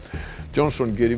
Johnson gerir